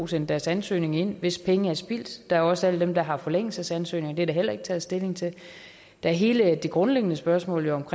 sendt deres ansøgning ind hvis penge er spildt der er også alle dem der har forlængelsesansøgninger det er der heller ikke taget stilling til der er hele det grundlæggende spørgsmål om